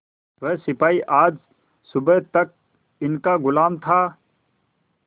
वह सिपाही आज सुबह तक इनका गुलाम था